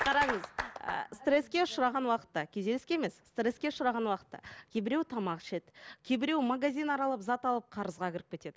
қараңыз ы стресске ұшыраған уақытта күйзеліске емес стресске ұшыраған уақытта кейбіреуі тамақ ішеді кейбіреуі магазин аралап зат алып қарызға кіріп кетеді